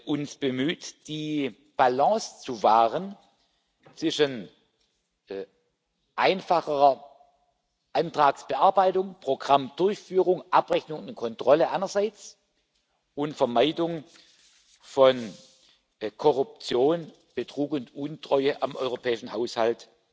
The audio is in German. alle uns bemüht, die Balance zu wahren zwischen einfacherer Antragsbearbeitung, Programmdurchführung, Abrechnung und Kontrolle einerseits und Vermeidung von Korruption, Betrug und Untreue am europäischen Haushalt